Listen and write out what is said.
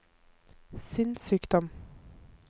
sinnssykdom